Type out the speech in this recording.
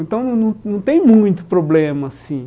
Então, não não não tem muito problema, assim.